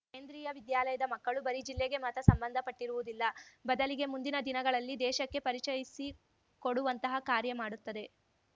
ಕೇಂದ್ರಿಯ ವಿದ್ಯಾಲಯಾದ ಮಕ್ಕಳು ಬರೀ ಜಿಲ್ಲೆಗೆ ಮಾತ್ರ ಸಂಬಂಧ ಪಟ್ಟಿರುವುದಿಲ್ಲ ಬದಲಿಗೆ ಮುಂದಿನ ದಿನಗಳಲ್ಲಿ ದೇಶಕ್ಕೆ ಪರಿಚಯಿಸಿಕೊಡುವಂತಹ ಕಾರ್ಯ ಮಾಡುತ್ತದೆ